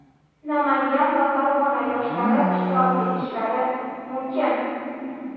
Namangan va Farg‘ona yoshlari ishtirok etishlari mumkin.